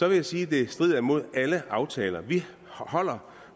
vil jeg sige at det strider imod alle aftaler vi holder